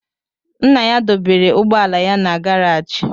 Nna ya dọbara ụgbọala ya na gàráji